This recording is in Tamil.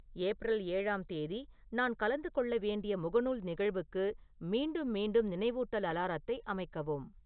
ஏப்ரல் ஏழாம் தேதி நான் கலந்து கொள்ள வேண்டிய முகநூல் நிகழ்வுக்கு மீண்டும் மீண்டும் நினைவூட்டல் அலாரத்தை அமைக்கவும்